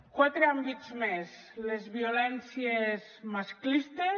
quatre àmbits més les violències masclistes